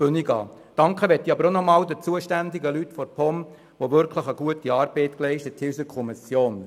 Ich danke auch den zuständigen Personen der POM, welche in der Kommission gute Arbeit geleistet haben.